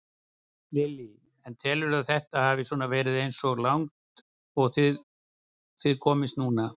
Lillý: En telurðu að þetta hafi svona verið eins og langt og þið komist núna?